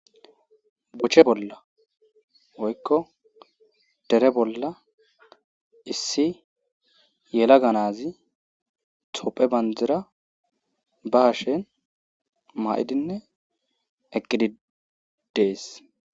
Boche bolla oykko dere bolla issi yela ganazi tophe bandira ba hashen ma7idinne eqqidi dees.